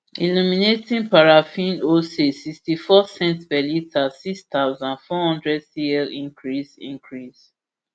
illuminating paraffin wholesale sixtyfour cents per litre six thousand, four hundred cl increase increase